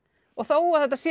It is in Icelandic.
þó að þetta sé